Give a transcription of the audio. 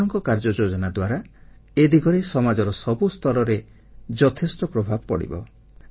ଆପଣଙ୍କ କାର୍ଯ୍ୟଯୋଜନା ଦ୍ୱାରା ଏ ଦିଗରେ ସମାଜର ସବୁ ସ୍ତରରେ ଯଥେଷ୍ଟ ପ୍ରଭାବ ପଡ଼ିବ